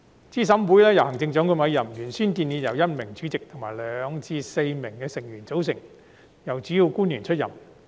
資審會由行政長官委任，原先建議由1名主席及2名至4名成員組成，由主要官員出任。